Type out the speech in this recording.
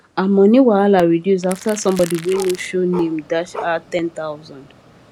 her money wahala reduce after somebody wey no show name dash her ten thousand